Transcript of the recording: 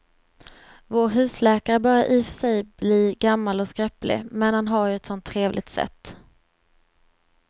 Vår husläkare börjar i och för sig bli gammal och skröplig, men han har ju ett sådant trevligt sätt!